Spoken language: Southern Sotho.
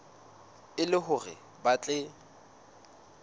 e le hore ba tle